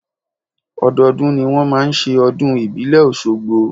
Ọdọọdún ni wọn máa ń ṣe ọdún ìbílẹ̀ ọ̀ṣogbo.